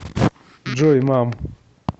джой мам